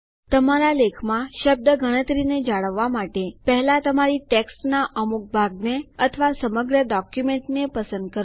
તમારા લેખમાં શબ્દ ગણતરીને જાળવવા માટે પહેલા તમારી ટેક્સ્ટના અમુક ભાગને અથવા સમગ્ર ડોક્યુમેન્ટને પસંદ કરો